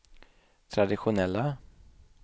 traditionella